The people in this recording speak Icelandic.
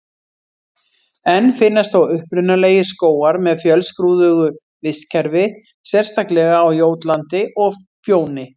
Enn finnast þó upprunalegir skógar með fjölskrúðugu vistkerfi, sérstaklega á Jótlandi og Fjóni.